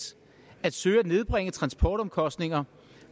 at søge at nedbringe transportomkostningerne